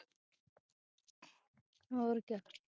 ਹੋਰ ਕਿਆ